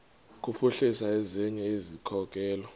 kuphuhlisa ezinye izikhokelo